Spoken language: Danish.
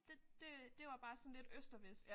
Det det øh det var bare sådan lidt øst og vest